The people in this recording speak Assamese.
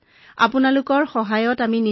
আমাক আপোনাৰ সমৰ্থন আৰু সহযোগিতাৰ প্ৰয়োজন